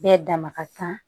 Bɛɛ dama ka kan